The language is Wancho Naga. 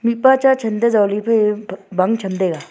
mihpa cha chanto zohli phai bang cham taiga.